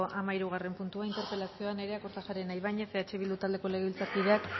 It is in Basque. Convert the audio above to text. hamahirugarren puntua interpelazioa nerea kortajarena ibañez eh bildu taldeko legebiltzarkideak